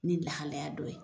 Ni lahalaya dɔ ye